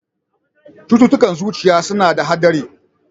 Cututtukan zuciya suna da haɗari.